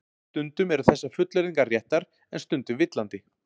Stundum eru þessar fullyrðingar réttar en stundum villandi.